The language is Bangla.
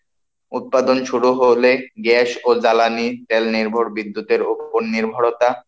উৎপাদন শুরু হলে গ্যাস ও জ্বালানি তেল নির্ভর বিদ্যুতের উপর নির্ভরতা,